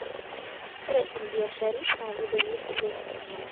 Ore mbiashari naa kepoyie isilen.